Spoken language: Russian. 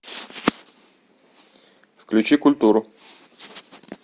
включи культуру